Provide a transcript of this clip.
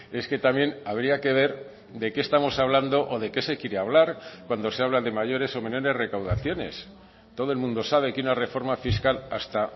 es que también habría que ver de qué estamos hablando o de qué se quiere hablar cuando se habla de mayores o menores recaudaciones todo el mundo sabe que una reforma fiscal hasta